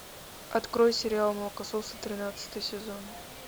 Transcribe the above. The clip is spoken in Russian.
открой сериал молокососы тринадцатый сезон